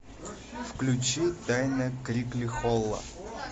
включи тайна крикли холла